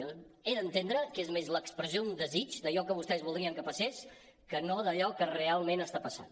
jo he d’entendre que és més l’expressió d’un desig d’allò que vostès voldrien que passés que no d’allò que realment està passant